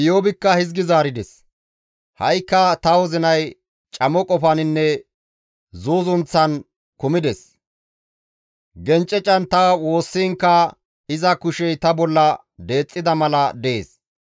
«Ha7ikka ta wozinay camo qofaninne zuuzunththan kumides; gencecan ta woossiinkka iza kushey ta bolla deexxida mala dees.